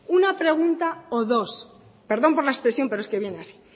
una pregunta o dos perdón por la expresión pero es que viene así